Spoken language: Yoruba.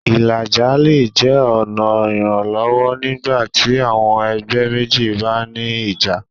Ìlàjà́ lẹ̀ jẹ́ ọ̀na iranlọwọ́ nígbàtí àwọn ẹgbẹ̀ mẹ́jì bá ní ìjà́.